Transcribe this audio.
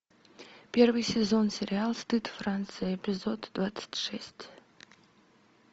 первый сезон сериал стыд франция эпизод двадцать шесть